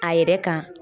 A yɛrɛ kan